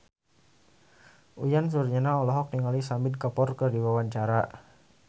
Uyan Suryana olohok ningali Shahid Kapoor keur diwawancara